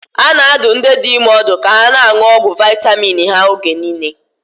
A na-adụ ndị dị ime ọdụ ka ha na-aṅụ ọgwụ vitamin ha oge niile.